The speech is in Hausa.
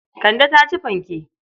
Kande ta ci fanke.